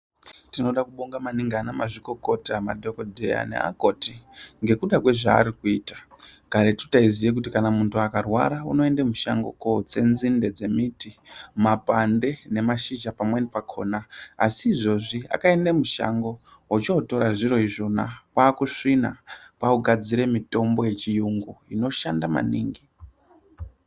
Tinode kubongaaningi anamazvikokota madhokodheya neakoti ngekuda kwezvaari kuita karetu taiziye kuti kana muntu akarwara unoende mushango kotsa nzinde dzembiti, mapande nemashizha pamweni pakona asi izvozvi akaende mushango ochotora zviro izvona kwakusvina kwakugadzire mitombo yechiyungu inoshanda maningi.